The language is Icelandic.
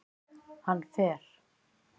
Hann fer